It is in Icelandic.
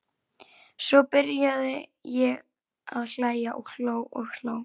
Svo byrjaði ég að hlæja og hló og hló.